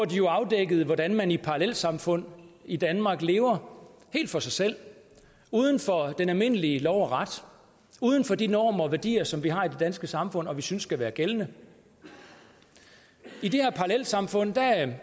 de jo afdækkede hvordan man i parallelsamfund i danmark lever helt for sig selv uden for den almindelige lov og ret uden for de normer og værdier som vi har i det danske samfund og som vi synes skal være gældende i det her parallelsamfund